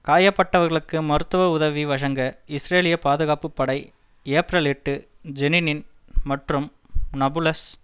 காயப்பட்டவர்களுக்கு மருத்துவ உதவி வழங்க இஸ்ரேலிய பாதுகாப்பு படை ஏப்ரல் எட்டு ஜெனின் மற்றும் நாபுலஸ்